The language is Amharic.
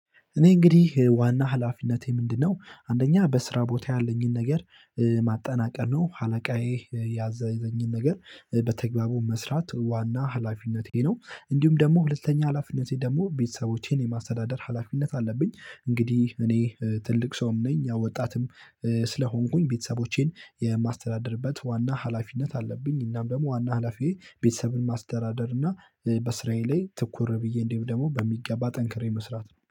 እኔ እንግዲህ ዋና ሀላፊነቴ ምንድነው? አንደኛ በስራ ቦታ ያለኝን ነገር ማጠናቀቅ ነው አለቃዬ ያዘዘኝን ነገር በአግባቡ መስራት ዋና ሀላፊነቴ ነው። እንዲሁም ደግሞ ሁለተኛ ሀላፊነቴ ደግሞ ቤተሰቦቼን የማስተዳደር ሀላፊነት አለብኝ። እንግዲህ እኔ ትልቅ ሰውም ነኝ። ያው ወጣትም ስለሆንኩኝ ቤተሰቦቼን የማስተዳደርበት ዋና ሀላፊነት አለብኝ። እናም ደግሞ ዋና ሀላፊዬ ቤተሰብን ማስተዳደር እና በስራዬ ላይ ትኩር ብዬ እንዲሁም ደግሞ በሚገባ ጠንክሬ መስራት ነው